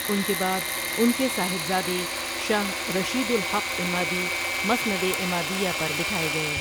ان کے بعد ان کے صاحبزادے شاہ رشیدالحق عمادی مسند عمادیہ پر بٹھائے گئے۔